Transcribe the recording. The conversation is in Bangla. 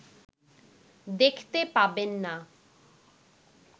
দেখতে পাবেন না